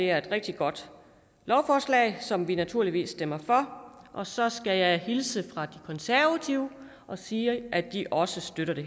er et rigtig godt lovforslag som vi naturligvis stemmer for og så skal jeg hilse fra de konservative og sige at de også støtter det